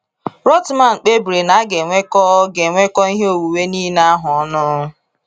Rothmann kpebiri na a ga enwekọ ga enwekọ ihe onwunwe nile ahụ ọnụ.